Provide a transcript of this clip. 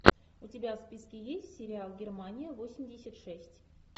у тебя в списке есть сериал германия восемьдесят шесть